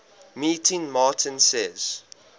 meeting martin says